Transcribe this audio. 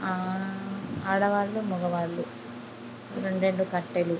ఆ ఆడవాళ్ళు మగవాళ్ళు రెండ్రెండు కట్టెలు--